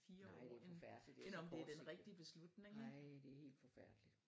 Nej det er forfærdeligt det er så kort nej det er helt forfærdeligt